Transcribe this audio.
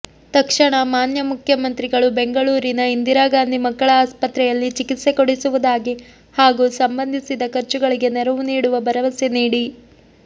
ತಕ್ಷಣ ಮಾನ್ಯ ಮುಖ್ಯಮಂತ್ರಿಗಳು ಬೆಂಗಳೂರಿನ ಇಂದಿರಾಗಾಂಧಿ ಮಕ್ಕಳ ಆಸ್ಪತ್ರೆಯಲ್ಲಿ ಚಿಕಿತ್ಸೆಕೊಡಿಸುವುದಾಗಿ ಹಾಗೂ ಸಂಬಂಧಿಸಿದ ಖರ್ಚುಗಳಿಗೆ ನೆರವು ನೀಡುವ ಭರವಸೆ ನೀಡಿ